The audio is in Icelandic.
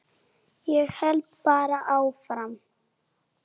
Ég held bara áfram.